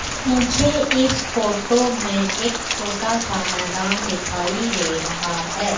मुझे इस फोटो में एक छोटा सा मैदान दिखाई दे रहा है।